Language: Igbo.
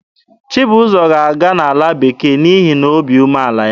Chibụzọ ga-aga ala bekee n'ihi na obi umeala ya.